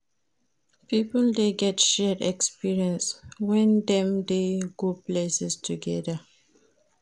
Pipio de get shared exprience when dem de go places together